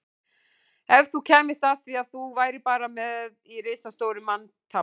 Ef þú kæmist að því að þú værir bara peð í risastóru manntafli